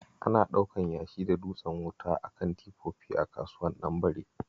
Ana ɗaukan yashi da dutsen wuta a kan tifofi a kasuwar Ɗanbare